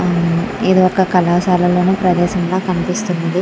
ఏదో ఒక కళాశాలలోనూ ప్రదేశంగా కనిపిస్తుంది.